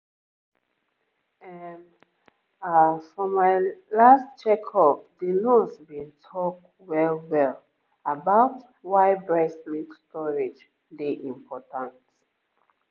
ehm ah for my last checkup the nurse been talk well-well about why breast milk storage dey important